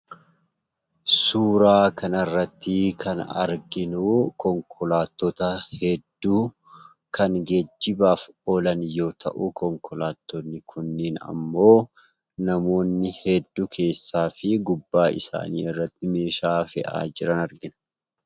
Suuraa kanarratti kan arginu konkolaattota hedduu kan geejjibaaf ooolan yoo ta'u, konkolaattonni kunneen ammoo namoonni hedduu keessaa fi gubbaa isaa irratti meeshaa fe'aa jiruu.